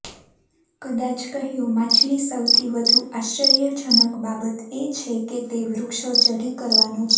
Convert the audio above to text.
કદાચ કહ્યું માછલી સૌથી વધુ આશ્ચર્યજનક બાબત એ છે કે તે વૃક્ષો ચઢી કરવાનો છે